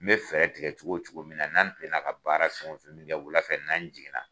N bɛ fɛɛrɛ tigɛ cogo o cogo min na n'an tilen na ka baara fɛn o fɛn min kɛ wula fɛ n'an jigin na.